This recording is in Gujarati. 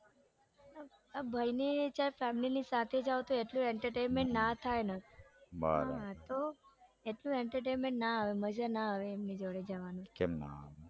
ભાઈને ચાલ family સાથે જાઉં તો એટલું entertainment ના થાય ને બરાબર તો એટલું entertainment ના આવે મજા ના આવે એમની જોડે કેમ ના આવે